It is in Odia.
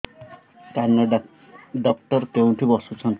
କାନ ଡକ୍ଟର କୋଉଠି ବସୁଛନ୍ତି